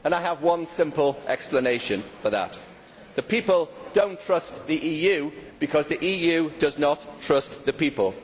I have one simple explanation for that. The people do not trust the EU because the EU does not trust the people.